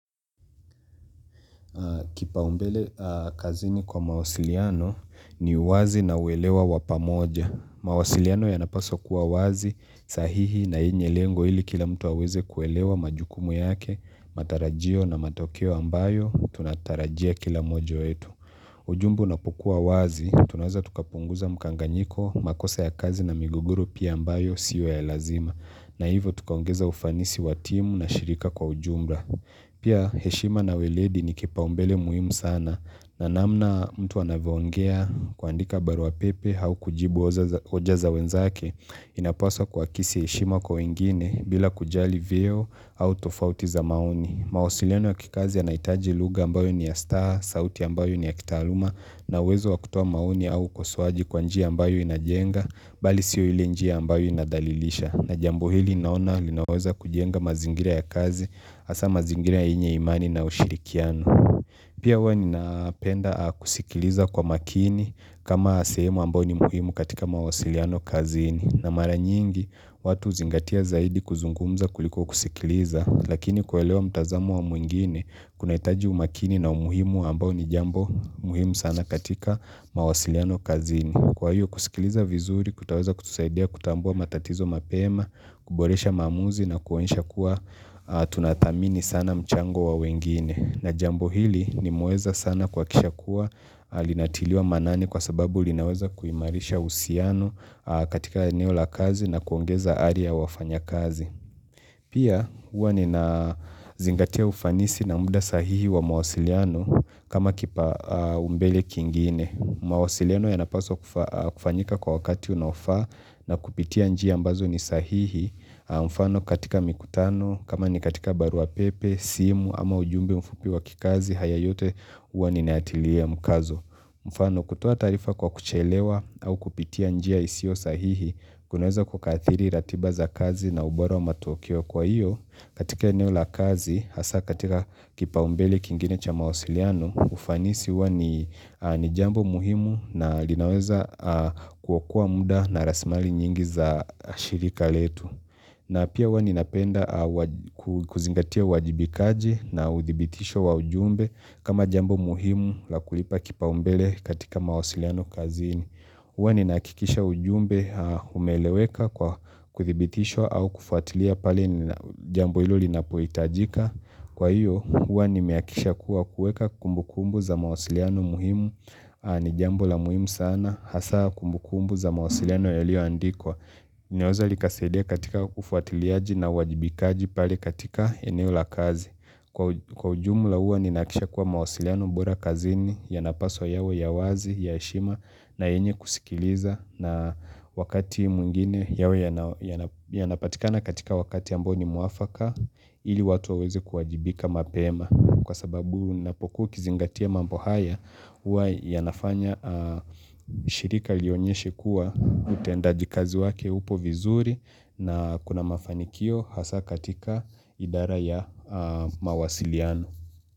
Kipau mbele kazini kwa mawasiliano ni uwazi na uelewa wa pamoja. Mawasiliano yanapaswo kuwa wazi, sahihi na inye lengo ili kila mtu waweze kuelewa majukumu yake, matarajio na matokeo ambayo, tunatarajia kila mmoja yetu. Ujumbe ipokuwa wazi, tunaeza tukapunguza mkanganyiko, makosa ya kazi na migogoro pia ambayo siyo ya lazima. Na hivo tukaungeza ufanisi watimu na shirika kwa ujumla. Pia heshima na weledi ni kipa umbele muhimu sana na namna mtu anaviongea kuandika barua pepe au kujibu oja za wenzake inapwaswa kwa kisi heshima kwa wengine bila kujali vyeo au tofautiza maoni. Mawasiliano ya kikazi ya naitaji luga ambayo ni ya staha, sauti ambayo ni ya kitaluma na uwezo wa kutoa mauni au ukosoaji kwa njia ambayo inajenga bali siyo ili njia ambayo inadhalilisha na jambo hili naona linaweza kujenga mazingira ya kazi asa mazingira ya inye imani na ushirikiano pia wani napenda kusikiliza kwa makini kama sehemu ambayo ni muhimu katika mawasiliano kazini na mara nyingi watu uzingatia zaidi kuzungumza kuliko kusikiliza Lakini kuelewa mtazamu wa mwingine kunaitaji umakini na umuhimu ambao ni jambo muhimu sana katika mawasiliano kazini Kwa hiyo kusikiliza vizuri kutaweza kutuzaidia kutambua matatizo mapema kuboresha maamuzi na kueosha kuwa tunadhamini sana mchango wa wengine na jambo hili ni muweza sana kwa kisha kuwa linatiliwa manani kwa sababu linaweza kuimarisha usiano katika eneo la kazi na kuongeza ari ya wafanya kazi Pia uwa nina zingatia ufanisi na muda sahihi wa mawasiliano kama kipao mbele kingine. Mawasiliano yanapaswa kufanyika kwa wakati unaofaa na kupitia njia ambazo ni sahihi. Mfano katika mikutano kama ni katika barua pepe, simu ama ujumbe mfupi wa kikazi haya yote uwa ninaatilia mkazo. Mfano kutua tarifa kwa kuchelewa au kupitia njia isio sahihi kunaweza kukadhiri ratiba za kazi na ubora wa matuokio kwa hiyo katika eneo la kazi hasa katika kipao mbele kingine cha mausiliano ufanisi uwa ni jambo muhimu na linaweza kuokua muda na rasimali nyingi za shirika letu. Na pia uwa ninapenda kuzingatia wajibikaji na udhibitisho wa ujumbe kama jambo muhimu la kulipa kipao mbele katika mawasiliano kazini. Uwa ninakikisha ujumbe umeleweka kwa kudhibitisho au kufuatilia pale jambo ilo linapoitajika. Kwa hiyo, uwa nimeakisha kuwa kueka kumbu kumbu za mawasiliano muhimu ni jambo la muhimu sana. Hasa kumbukumbu za mawasiliano yalio andikwa. Nyoza likazadia katika ufuatiliaji na wajibikaji pale katika eneo la kazi. Kwa ujumla uwa ninakisha kuwa mawasiliano bora kazini yanapaswa yawe ya wazi ya heshima na enye kusikiliza na wakati mwingine yawe yanapatikana katika wakati ambao nimwafaka ili watu wawezi kuwajibika mapema. Kwa sababu unapokuwa ukizingatia mambo haya, huwa yanafanya shirika lionyeshe kuwa utendajikazi wake upo vizuri na kuna mafanikio hasa katika idara ya mawasiliano.